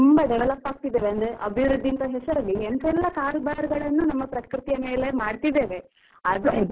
ಅಂದ್ರೆ ಅಭಿವೃದ್ಧಿ ಅಂತ ಹೆಸರಲ್ಲಿ ಎಂತಾ ಎಲ್ಲಾ ಕಾರುಬಾರುಗಳನ್ನು ನಮ್ಮ ಪ್ರಕೃತಿಯ ಮೇಲೆ ಮಾಡ್ತಿದ್ದೇವೆ, ಅದ್ರ effect ಅಲ್ವಾ ಇದು?